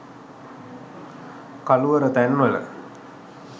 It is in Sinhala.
කළුවර තැන් වල